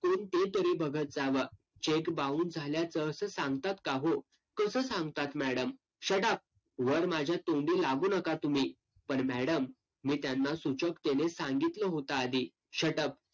कोण ते तरी बघत जावा. cheque bounce झाल्याचं असं सांगतात का हो? कसं सांगतात madam? shut up. वर माझ्या तोंडी लागू नका तुम्ही. पण madam, मी त्यांना सूचकतेने सांगितलं होतं आधी. shut up.